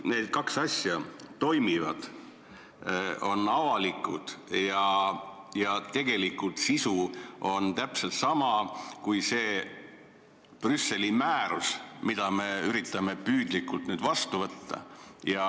Need kaks asja meil toimivad, kõik on avalik, nagu nõuab see Brüsseli määrus, mille norme me üritame püüdlikult üle võtta.